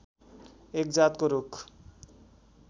एक जातको रूख